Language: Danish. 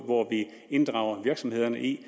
hvor vi inddrager virksomhederne i